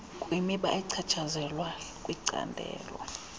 kwimiba echatshazelwa licandelo